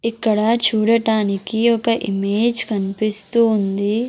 ఇక్కడ చూడటానికి ఒక ఇమేజ్ కనిపిస్తూ ఉంది.